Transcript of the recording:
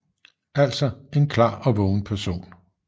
Altså en klar og vågen person